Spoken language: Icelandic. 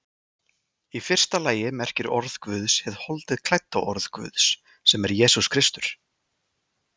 Í fyrsta lagi merkir orð Guðs hið holdi klædda orð Guðs, sem er Jesús Kristur.